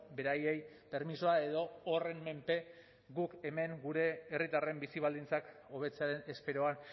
beraiei permisoa edo horren menpe guk hemen gure herritarren bizi baldintzak hobetzearen esperoan